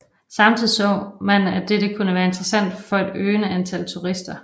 Samtidig så man at dette kunne være interessant for et øgende antal turister